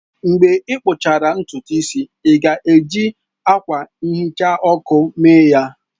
Mgbe ị kpụchara ntutu isi ya, ị ga-eji akwa nhicha ọkụ mee ya?